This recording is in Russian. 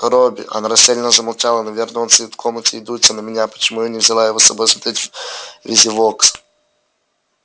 робби она растерянно замолчала наверно он сидит в комнате и дуется на меня почему я его не взяла с собой смотреть визивокс